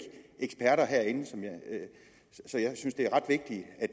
eksperter herinde så jeg synes det er ret vigtigt at